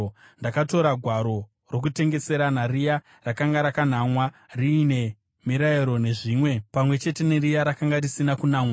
Ndakatora gwaro rokutengeserana, riya rakanga rakanamwa riine mirayiro nezvimwe, pamwe chete neriya rakanga risina kunamwa,